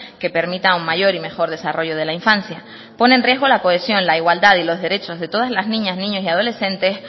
que permita un mayor y mejor desarrollo de la infancia pone en riesgo la cohesión la igualdad y los derechos de todas las niñas niños y adolescentes